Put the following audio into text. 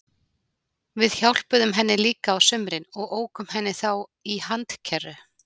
Við hjálpuðum henni líka á sumrin og ókum henni þá í handkerru.